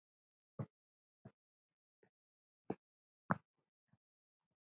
Hvað þýðir orðið nörd?